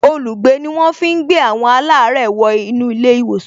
Olùgbé ni wọ́n fi ń gbé àwọn alare wo inú ilé ìwòsàn